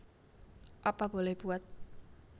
Apa Boleh Buat